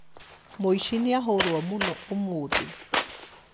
muici nĩahũrwo mũno ũmũthĩ